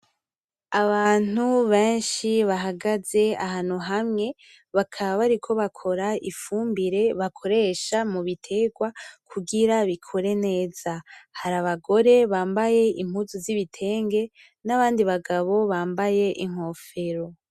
Abantu benshi bahagaze ahantu hamwe , bakaba bariko bakora ifumbire bakoresha mu biterwa kugira bikore neza, hari abagore bambaye impuzu z'ibitenge ,n'abandi bagabo bambaye inkofero.